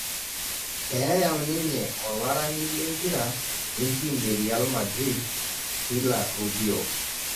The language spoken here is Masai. Eyam ninye olarani lempira lentim e Real madrid Pilar Rubio